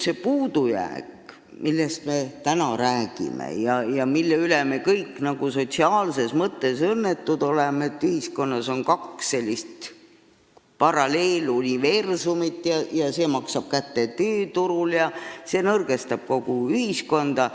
Me oleme täna rääkinud sellest, mille üle me kõik n-ö sotsiaalses mõttes õnnetud oleme: ühiskonnas on kaks paralleeluniversumit ning see maksab kätte tööturul ja nõrgestab kogu ühiskonda.